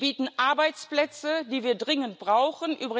Die bieten Arbeitsplätze, die wir dringend brauchen.